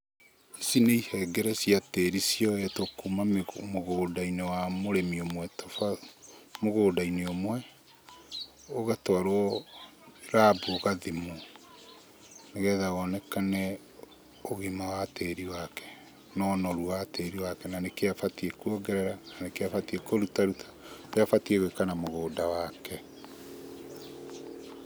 Ici nĩ ihengere cia tĩri cioetwo kuma mũgũnda-inĩ wa mũrĩmi ũmwe mũgũnda-inĩ ũmwe, ũgatwarũo rabu ũgathimwo, nĩgetha wonekane ũgima wa tĩri wake, na ũnoru wa tĩri wake, na nĩkĩ abatiĩ kuongerera na nĩkĩ abatiĩ kũrutaruta, ũrĩa abatiĩ gwĩka na mũgũnda wake.